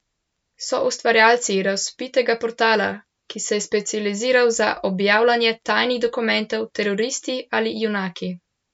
So ustvarjalci razvpitega portala, ki se je specializiral za objavljanje tajnih dokumentov, teroristi ali junaki?